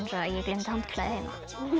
að ég gleymdi handklæði heima